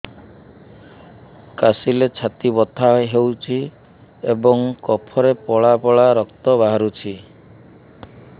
କାଶିଲେ ଛାତି ବଥା ହେଉଛି ଏବଂ କଫରେ ପଳା ପଳା ରକ୍ତ ବାହାରୁଚି